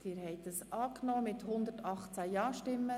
Diesen haben sie ausgeteilt erhalten.